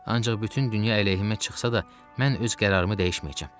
Ancaq bütün dünya əleyhimə çıxsa da, mən öz qərarımı dəyişməyəcəm.